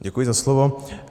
Děkuji za slovo.